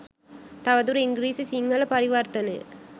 තව දුර ඉංග්‍රීසි සිංහල පරිවර්තනය